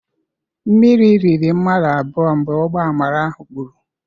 Miri rịrị mmadụ abụọ mgbe ụgbọ amara ahụ kpuru.